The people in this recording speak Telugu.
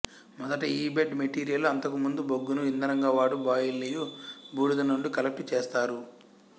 మొదట ఈ బెడ్ మెటీరియలు అంతకు ముందు బొగ్గును ఇంధనంగా వాడు బాయిలయు బూడిద నుండి కలెక్టు చే స్తారు